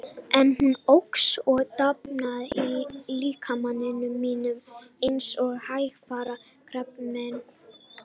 En hún óx og dafnaði í líkama mínum eins og hægfara krabbamein.